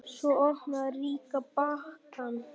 Svo opnaði Rikka pakkann.